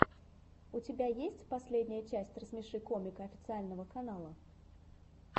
у тебя есть последняя часть рассмеши комика официального канала